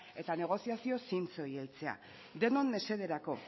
eta negoziazio zintzoei heltzea denon mesederako